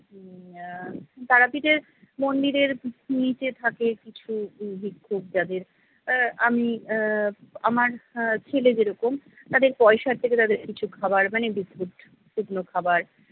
উম আহ তারাপীঠের মন্দিরের নিচে থাকে কিছু ভিক্ষুক যাদের আহ আমি আহ আমার আহ ছেলে যেরকম তাদের পয়সার থেকে তাদের কিছু খাবার মানে biscuit শুকনো খাবার